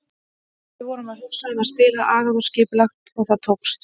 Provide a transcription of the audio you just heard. Við vorum að hugsa um að spila agað og skipulagt og það tókst.